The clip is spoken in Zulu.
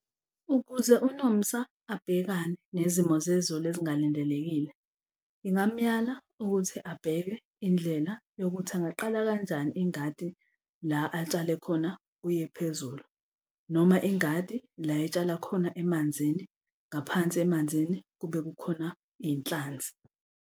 Ukuze uNomsa abhekane nezimo zezulu ezingalindelekile, ngingamyala ukuthi abheke indlela yokuthi angaqala kanjani ingadi la atshale khona kuye phezulu. Noma ingadi la etshala khona emanzini, ngaphansi emanzini kube kukhona iy'nhlanzi.